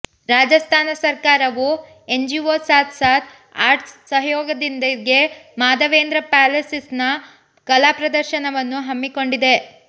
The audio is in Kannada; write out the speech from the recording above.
ರಾಜಸ್ಥಾನ ಸರ್ಕಾರವು ಎನ್ಜಿಓ ಸಾಥ್ ಸಾಥ್ ಆರ್ಟ್ಸ್ ಸಹಯೋಗದೊಂದಿಗೆ ಮಾಧವೇಂದ್ರ ಪ್ಯಾಲೇಸ್ನಲ್ಲಿ ಕಲಾ ಪ್ರದರ್ಶನವನ್ನು ಹಮ್ಮಿಕೊಂಡಿದೆ